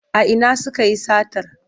A ina sukayi satar?